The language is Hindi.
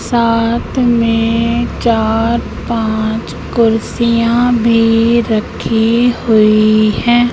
साथ में चार पांच कुर्सियां भी रखी हुई हैं।